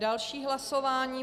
Další hlasování.